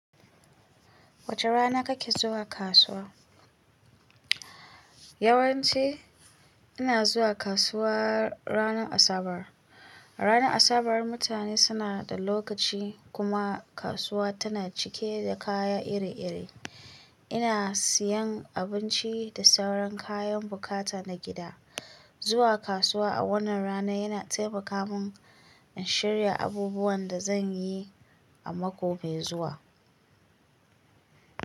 Wace rana kake zuwa kasuwa? Yawanci ina zuwa kasuwa ranar Asabar. Ranar Asabar mutane suna da lokaci kuma kasuwa tana cike da kaya iri-iri. Ina siyan abinci da sauran kayan bukata na gida. Zuwa kasuwa a wannan rana yana taimaka mun in shirya abubuwan da zan yi a mako mai zuwa.